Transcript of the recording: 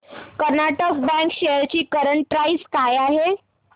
Karnataka bank shares ची current price काय आहे